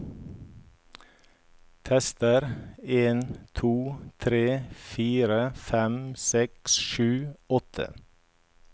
Tester en to tre fire fem seks sju åtte